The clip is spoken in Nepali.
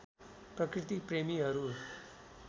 प्रकृति प्रेमीहरू